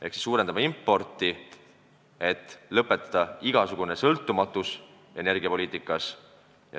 Ehk me suurendame importi, lõpetades energiapoliitikas igasuguse sõltumatuse.